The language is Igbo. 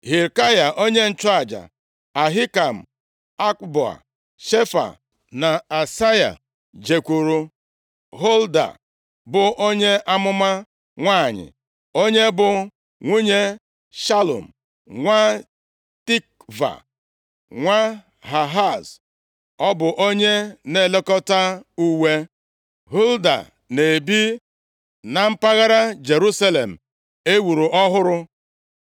Hilkaya onye nchụaja, Ahikam, Akboa, Shefan na Asaya, jekwuuru Hulda, bụ onye amụma nwanyị. Onye bụ nwunye Shalum, nwa Tikva, nwa Hahas, ọ bụ onye na-elekọta uwe. Hulda na-ebi na mpaghara Jerusalem e wuru ọhụrụ.